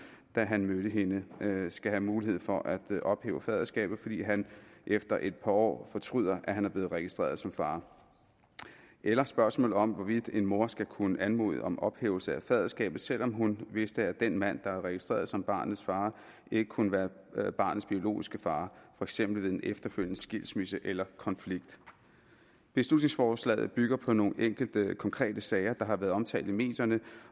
da han mødte hende skal have mulighed for at ophæve faderskabet fordi han efter et par år fortryder at han er blevet registreret som far eller spørgsmålet om hvorvidt en mor skal kunne anmode om ophævelse af faderskabet selv om hun vidste at den mand der er registreret som barnets far ikke kunne være barnets biologiske far for eksempel ved en efterfølgende skilsmisse eller konflikt beslutningsforslaget bygger på nogle enkelte konkrete sager der har været omtalt i medierne